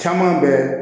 Caman bɛ